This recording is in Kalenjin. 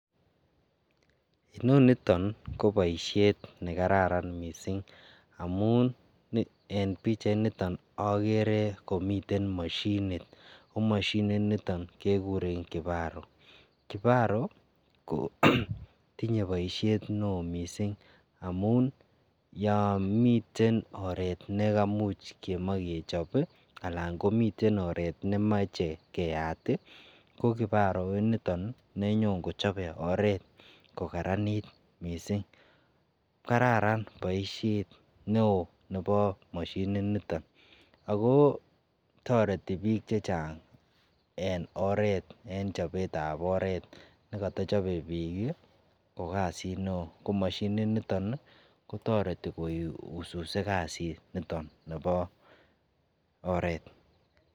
Inonito koboisiet ne kararan mising amun en pichainito agere komiten mashinit, ko mashinito kaguren kiparo. Kiparo kotinye boisiet neo mising amun yon miten oret nekamuch kemae kechop anan komiten oret nemoche keyat, ko kiparo initon nenyon kochone oret kokararanit mising. Kararan boisiet neo nebo mashinit niton ago toreti biik chechang en oret en chobetab oret nekata chobe biik ko kasit neo ko mashinit niton kotoreti koususe kasit niton nebo oret.